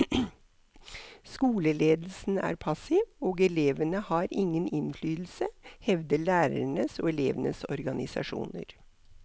Skoleledelsen er passiv, og elevene har ingen innflytelse, hevder lærernes og elevenes organisasjoner.